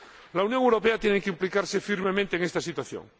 La Unión Europea tiene que implicarse firmemente en esta situación.